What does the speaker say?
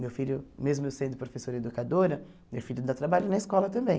Meu filho, mesmo eu sendo professora educadora, meu filho dá trabalho na escola também.